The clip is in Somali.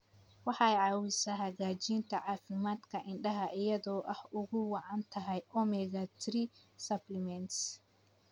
Waxay caawisaa hagaajinta caafimaadka indhaha iyada oo ay ugu wacan tahay omega-3 supplements.